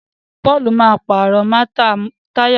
Paul má pààrọ̀ Táyà mọ́tò rẹ